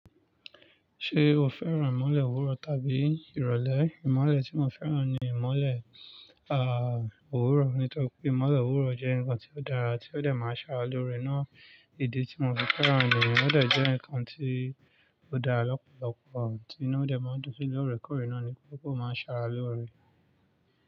Ṣé o fẹ́ràn ìmọ́lẹ̀ òwúrọ̀ tàbí ìrọ̀lẹ́? Ìmọ́lẹ̀ tí mo fẹ́ràn ni ìmọ́lẹ̀, ah, òwúrọ̀. Nítorí pé ìmọ́lẹ̀ òwúrọ̀ jẹ́ nǹkan tí ó dára tí ó dẹ̀ máa ń ṣàráloore ná. Ìdí tí mo fi fẹ́ràn ni, òdẹ̀ jẹ́ nǹkan tí ó dára lọ́pọ̀lọpọ̀ ohun tí iná òdẹ̀ máa ń dùn sí lóore kóòre ná ni pé ó máa ń ṣàráloore.